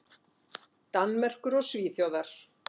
Danmerkur og Svíþjóðar.